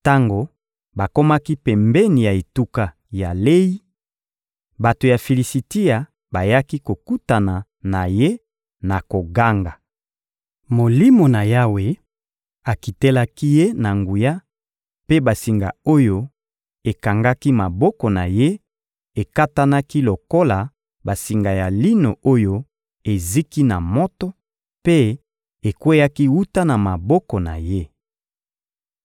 Tango bakomaki pembeni ya etuka ya Leyi, bato ya Filisitia bayaki kokutana na ye na koganga. Molimo na Yawe akitelaki ye na nguya, mpe basinga oyo ekangaki maboko na ye ekatanaki lokola basinga ya lino oyo eziki na moto, mpe ekweyaki wuta na maboko na ye.